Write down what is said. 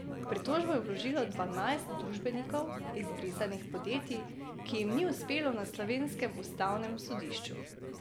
Pritožbo je vložilo dvanajst družbenikov izbrisanih podjetij, ki jim ni uspelo na slovenskem ustavnem sodišču.